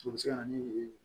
O bɛ se ka na ni